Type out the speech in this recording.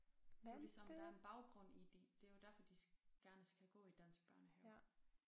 Det jo ligesom der er en baggrund i de det jo derfor de gerne skal gå i dansk børnehave